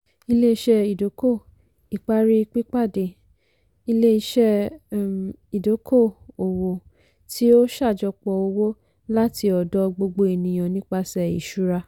ilé-iṣẹ́ ìdókò-ìparí pípàdé - ilé-iṣẹ́ um ìdókò-owó tí ó ṣàjọpọ̀ owó láti ọ̀dọ̀ gbogbo ènìyàn nipasẹ̀ ìṣúra.